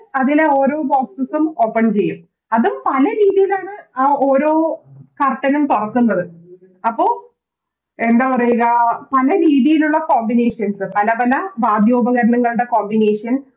അതിലെ ഓരോ Boxes ഉം Open ചെയ്യും അതും പല രീതിലാണ് ആ ഓരോ Curtain നും തൊറക്കുന്നത് അപ്പൊ എന്തപറയ രാ പല രീതിലുള്ള Subrivations പലപല വാദ്യോപകരണങ്ങളുടെ Subrivations